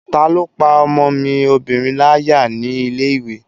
Taló pá ọmọ mi obìnrin láyà ní ilé-ìwé?